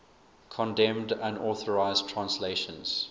condemned unauthorized translations